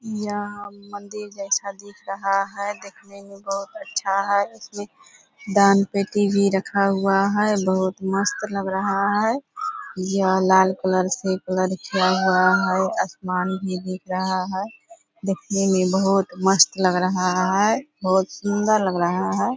यहाँ मंदिर जैसा दिख रहा है देखने में बहुत अच्छा है। इसमें दान-पेटी भी रखा हुआ है बहुत मस्त लग रहा है। यह लाल कलर से कलर किया हुआ है। आसमान भी दिख रहा है देखने में बहुत मस्त लग रहा है बहुत सुंदर लग रहा है।